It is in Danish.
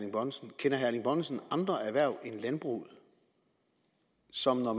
erling bonnesen andre erhverv end landbruget som når